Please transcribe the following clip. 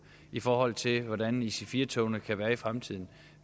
i forhold til hvordan ic4 togene kan være i fremtiden